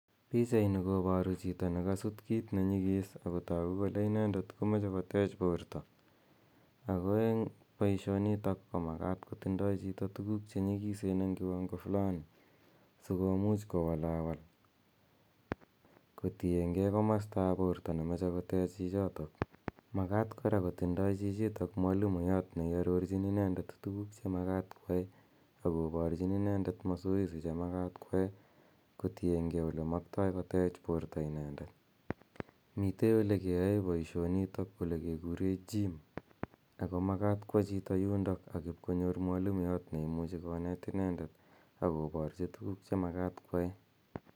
Pichaini koparu chito ne kasut kiit ne nyigis ako tagu kole inendet ko mache kotech porto. ako eng' poishonitok ko makat kotindai piik tuguuk che nyikisen eng' kiwango fulani si komuch kowalawal kotin gei komsta ap porto ne mache kotech chichotok. Makata kora kotinye chito mwalimuyat ne iarorchin inendet tuguuk che makat koyae, ako parchin inendet masoesi che makat koyae kotienge ole maktai kotech porto inendet. Mitei ole keyae poishonitok ole kekure gym , ako makat kowa chito yundok akipkoonyor mwalimuyat ne imuchi konet inendet ako parchi tuguuk che makat koyae.